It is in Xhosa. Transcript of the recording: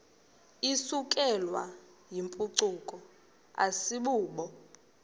isukelwayo yimpucuko asibubo